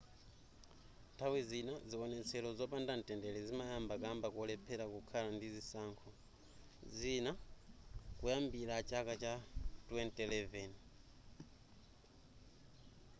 nthawi zina ziwonetsero zopanda mtendere zimayamba kamba kolephera kukhala ndi zisankho zina kuyambira chaka cha 2011